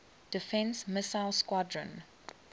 defense missile squadron